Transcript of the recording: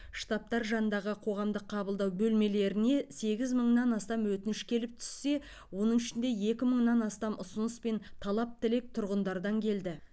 штабтар жанындағы қоғамдық қабылдау бөлмелеріне сегіз мыңнан астам өтініш келіп түссе оның ішінде екі мыңнан астам ұсыныс пен талап тілек тұрғындардан келді